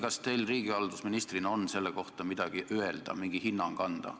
Kas teil riigihalduse ministrina on selle kohta midagi öelda, mingi hinnang anda?